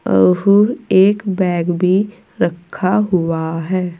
एक बैग भी रखा हुआ है।